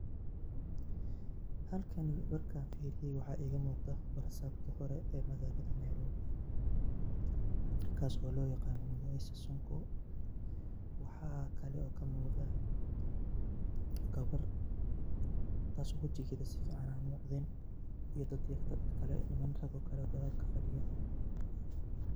Halkani markan firiye waxa igamugda barasabki hore ee magalada Nairobi, kaas oo loyagano mugacisa sonko, waxa kale oo kamugda gawar taas oo wajigeda si fican an umugdin, iyo dadyoyin kale nimano kale oo gadal kafadiyan.